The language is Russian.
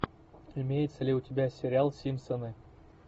имеется ли у тебя сериал симпсоны